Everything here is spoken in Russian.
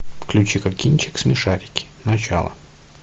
включи ка кинчик смешарики начало